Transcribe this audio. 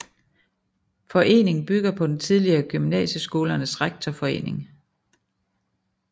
Foreningen bygger på den tidligere Gymnasieskolernes Rektorforening